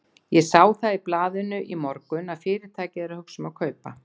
Ég sá það í blaðinu í morgun, að Fyrirtækið er að hugsa um að kaupa